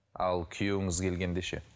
ал күйеуіңіз келгенде ше